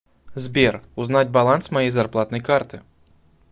сбер узнать баланс моей зарплатной карты